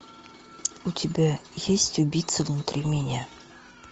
у тебя есть убийца внутри меня